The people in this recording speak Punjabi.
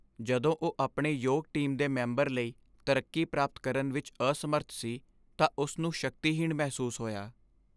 ਜਦੋਂ ਉਹ ਆਪਣੇ ਯੋਗ ਟੀਮ ਦੇ ਮੈਂਬਰ ਲਈ ਤਰੱਕੀ ਪ੍ਰਾਪਤ ਕਰਨ ਵਿੱਚ ਅਸਮਰੱਥ ਸੀ ਤਾਂ ਉਸ ਨੂੰ ਸ਼ਕਤੀਹੀਣ ਮਹਿਸੂਸ ਹੋਇਆ।